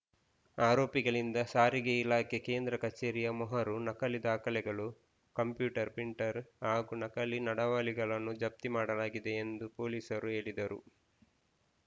ಆರೋಪಿಗಳಿಂದ ಸಾರಿಗೆ ಇಲಾಖೆ ಕೇಂದ್ರ ಕಚೇರಿಯ ಮೊಹರು ನಕಲಿ ದಾಖಲೆಗಳು ಕಂಪ್ಯೂಟರ್‌ ಪ್ರಿಂಟರ್‌ ಹಾಗೂ ನಕಲಿ ನಡಾವಳಿಗಳನ್ನು ಜಪ್ತಿ ಮಾಡಲಾಗಿದೆ ಎಂದು ಪೊಲೀಸರು ಹೇಳಿದರು